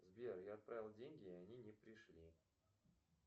сбер я отправил деньги и они не пришли